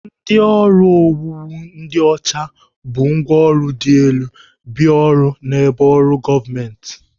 Ndị ọrụ owuwu ndị ọcha bu ngwaọrụ dị elu bịa ọrụ n'ebe ọrụ gọọmentị.